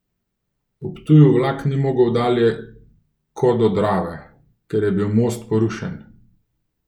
V Ptuju vlak ni mogel dalje ko do Drave, ker je bil most porušen.